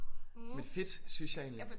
Men fedt synes jeg egentlig